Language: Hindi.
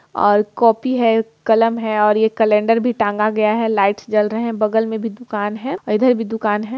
और कापी है कलम है और ये कैलंडर भी टांगा गया है लाइट्स जल रहे है बगल मे भी दुकान है और इधर भी दुकान है।